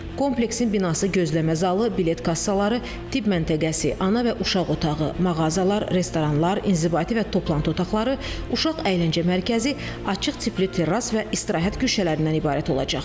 Kompleksin binası gözləmə zalı, bilet kassaları, tibb məntəqəsi, ana və uşaq otağı, mağazalar, restoranlar, inzibati və toplantı otaqları, uşaq əyləncə mərkəzi, açıq tipli terras və istirahət güşələrindən ibarət olacaq.